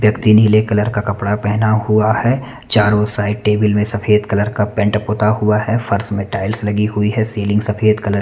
व्यक्ती नीले कलर का कपडा पहना हुआ है चारों साइड टेबल में सफ़ेद कलर का पेंट पुता हुआ है फर्श में टाइल्स लगी हुई है सीलिंग सफ़ेद कलर --